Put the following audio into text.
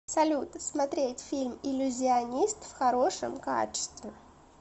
салют смотреть фильм иллюзионист в хорошем качестве